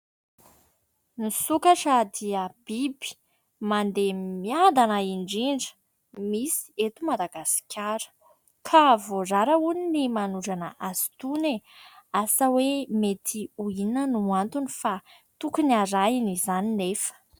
Ny sokatra dia biby mandeha miadana indrindra misy eto Madagasikara. Ka voarara hono ny manondrana azy itony e ! Asa hoe mety ho inona no antony fa tokony arahina izany nefa.